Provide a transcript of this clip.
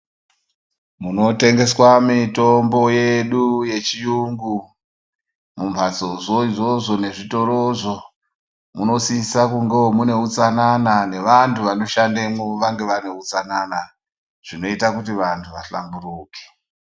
Munotengeswa mitombo yedu mumbatso yedu nezvitoro munosisa kunge Mune utsanana nevantu vanoshandamo vane utsanana zvinoita kuti muhlanburuke.